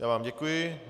Já vám děkuji.